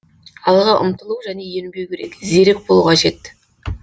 алға ұмтылу және ерінбеу керек зерек болу қажет